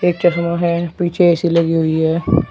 एक चश्मा है। पीछे ए_सी लगी हुई है।